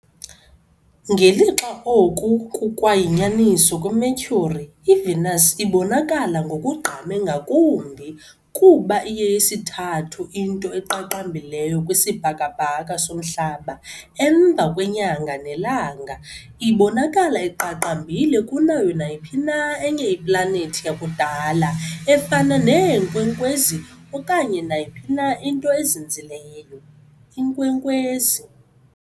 Ngelixa oku kukwayinyaniso kwiMercury, iVenus ibonakala ngokugqame ngakumbi, kuba iyeyesithathu into eqaqambileyo kwisibhakabhaka soMhlaba emva kweNyanga neLanga, ibonakala iqaqambile kunayo nayiphi na enye iplanethi yakudala efana neenkwenkwezi okanye nayiphi na into ezinzileyo . inkwenkwezi .